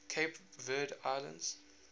cape verde islands